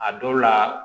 A dɔw la